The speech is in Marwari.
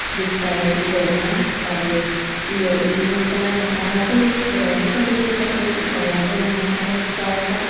जे चाय की ट्रे मा अर इ ओ इ में चाय मसाला छे ये पुड़िया छोटी छोटी सफेद की पुडिया छे एव मसाला छे चाय का।